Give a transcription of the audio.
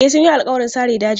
E, sun yi alƙawarin sare dajin.